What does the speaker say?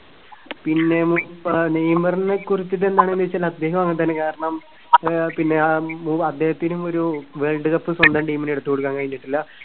പിന്നെ ആഹ് നെയ്‌മറിനെ കുറിച്ചിട്ട് എന്താണെന്ന് വെച്ചാൽ അദ്ദേഹവും അങ്ങനെ തന്നെ കാരണം ആഹ് പിന്നെ ഉം അദ്ദേഹത്തിനും ഒരു വേൾഡ് കപ്പ് സ്വന്തം team ന് എടുത്തുകൊടുക്കാൻ കഴിഞ്ഞിട്ടില്ല.